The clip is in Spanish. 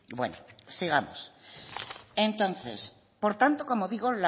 bueno sigamos entonces por tanto como digo